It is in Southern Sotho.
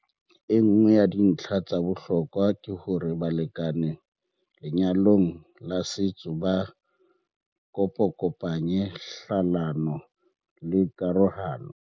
Enngwe ya dintlha tsa bohlokwa ke hore balekane lenyalong la setso ba kopakopanya hlalano le karohano.